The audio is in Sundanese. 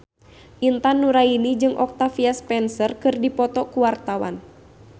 Intan Nuraini jeung Octavia Spencer keur dipoto ku wartawan